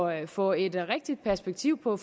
at få et rigtigt perspektiv på